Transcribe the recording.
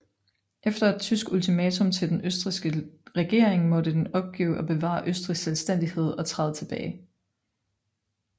Efter et tysk ultimatum til den østrigske regering måtte den opgive at bevare østrigsk selvstændighed og træde tilbage